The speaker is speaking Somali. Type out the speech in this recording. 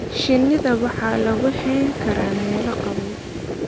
Shinida waxaa lagu hayn karaa meelo qabow.